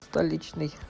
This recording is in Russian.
столичный